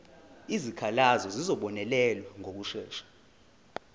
izikhalazo zizobonelelwa ngokushesha